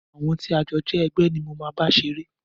Àwọn tí a jọ jẹ́ ẹgbẹ́ ni mo máa bá ṣeré.